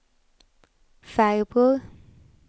farbror